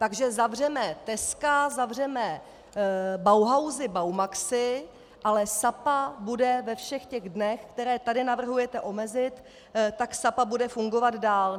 Takže zavřeme teska, zavřeme bauhasy, baumaxy, ale Sapa bude ve všech těch dnech, které tady navrhujete omezit, tak Sapa bude fungovat dál.